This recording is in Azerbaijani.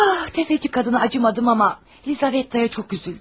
Sələmçi qadına yazığım gəlmədi, amma Lizavetta'ya çox üzüldüm.